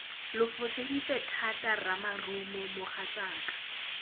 lo foseditse thata ramarumo mogatsaka